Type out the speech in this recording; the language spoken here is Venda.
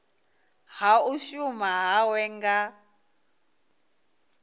ha u shuma hawe nga